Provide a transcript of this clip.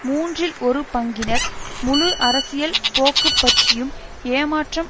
மூன்றில் ஒரு பங்கினர் முழு அரசியல் போக்குப்பற்றியும் ஏமாற்றம்